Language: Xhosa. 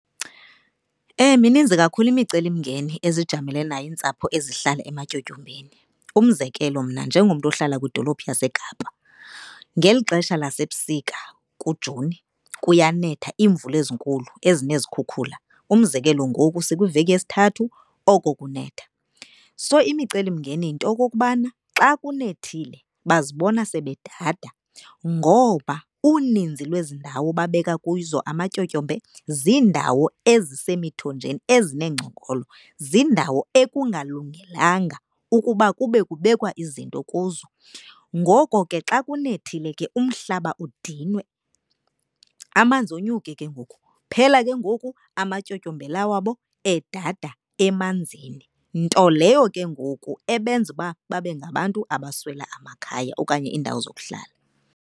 Mininzi kakhulu imicelimngeni ezijamelene nayo iintsapho ezihlala ematyotyombeni. Umzekelo, mna njengomntu ohlala kwidolophu yaseKapa ngeli xesha lasebusika uJuni kuyanetha iimvula ezinkulu ezinezikhukhula. Umzekelo, ngoku sikwiveki yesithathu oko kunetha. So, imicelimngeni yinto yokokubana xa kunethile bazibona sebedada, ngoba uninzi lwezi ndawo babeka kuzo amatyotyombe ziindawo ezisemithonjeni, ezineengcongolo. Ziindawo ekungalungelanga ukuba kube kubekwa izinto kuzo. Ngoko ke xa kunethile ke umhlaba udinwe amanzi onyuke ke ngoku phela ke ngoku amatyotyombe la wabo edada emanzini. Nto leyo ke ngoku ebenza uba babe ngabantu abaswela amakhaya okanye iindawo zokuhlala.